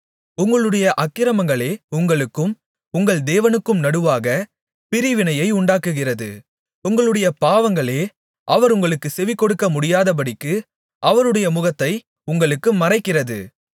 உங்களுடைய அக்கிரமங்களே உங்களுக்கும் உங்கள் தேவனுக்கும் நடுவாகப் பிரிவினையை உண்டாக்குகிறது உங்களுடைய பாவங்களே அவர் உங்களுக்குச் செவிகொடுக்க முடியாதபடிக்கு அவருடைய முகத்தை உங்களுக்கு மறைக்கிறது